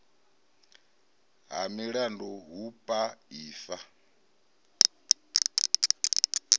ha milandu hu paa ifa